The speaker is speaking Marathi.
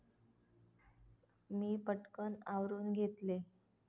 मी पटकन आवरून घेतले.